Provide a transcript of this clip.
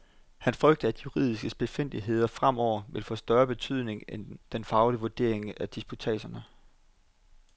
Han frygter, at juridiske spidsfindigheder fremover vil få større betydning end den faglige vurdering af disputatserne.